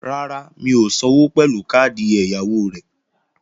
Rárá, mi ò sanwó pẹ̀lú káàdì ẹ̀yáwó mi